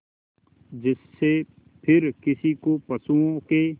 जिससे फिर किसी को पशुओं के